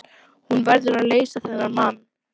Hún verður að leysa þennan mann.